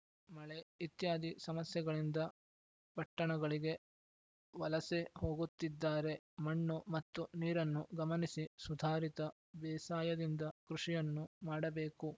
ಮಳೆ ಇತ್ಯಾದಿ ಸಮಸ್ಯೆಗಳಿಂದ ಪಟ್ಟಣಗಳಿಗೆ ವಲಸೆ ಹೋಗುತ್ತಿದ್ದಾರೆ ಮಣ್ಣು ಮತ್ತು ನೀರನ್ನು ಗಮನಿಸಿ ಸುಧಾರಿತ ಬೇಸಾಯದಿಂದ ಕೃಷಿಯನ್ನು ಮಾಡಬೇಕು